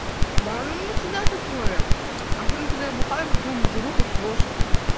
да оно у меня всегда такое особено когда я бухаю потом жру как лошадь